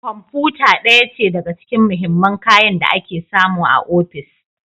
Kwamfuta ɗaya ce daga cikin mahimman kayan da ake samu a ofis